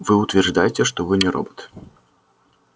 вы утверждаете что вы не робот